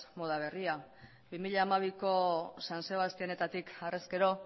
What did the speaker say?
moda berria bi mila hamabiko san sebastianetatik harrezkero